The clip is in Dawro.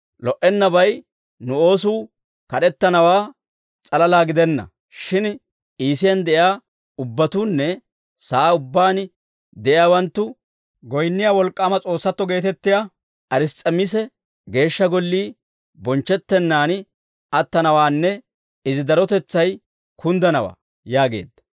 Lo"ennabay, nu oosuu kad'ettanawaa s'alalaa gidenna; shin Iisiyaan de'iyaa ubbatuunne sa'aa ubbaan de'iyaawanttu goyinniyaa wolk'k'aama s'oossatto geetettiyaa Ars's'emiisi geeshsha gollii bonchchettennan attanawaanne, izi darotetsay kunddanawaa» yaageedda.